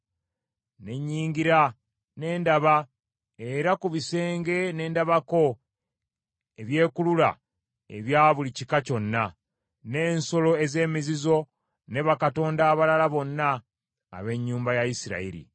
Ne nnyingira ne ndaba, era ku bisenge ne ndabako ebyekulula ebya buli kika kyonna, n’ensolo ez’emizizo ne bakatonda abalala bonna ab’ennyumba ya Isirayiri.